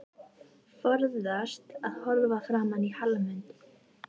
Forðast að horfa framan í Hallmund.